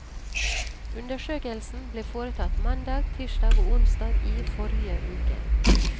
Undersøkelsen ble foretatt mandag, tirsdag og onsdag i forrige uke.